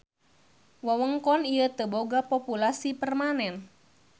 Wewengkon ieu teu boga populasi permanen.